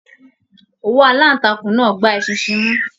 Òwú alantakun náà gbà eṣinṣin mú.